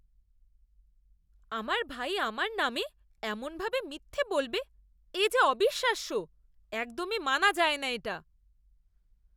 আমার ভাই আমার নামে এমনভাবে মিথ্যে বলবে, এ যে অবিশ্বাস্য। একদমই মানা যায় না এটা।